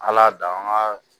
Ala danga